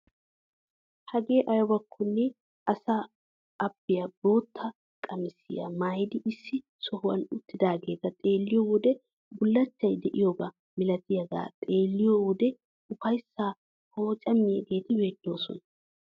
Hagee aybakkone asa abbay bootta qamisiyaa maayidi issi sohuwaan uttidageeta xeelliyoo wode bullachchay de'iyaaba milatiyaaga xeelliyoo wode ufayssaa pooccamiyaageti beettoosona!